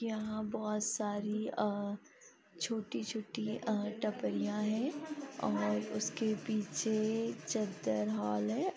यहाँ बहोत सारी छोटी-छोटी अ टापरियाँ हैं और उसके पीछे चद्दर हॉल है ।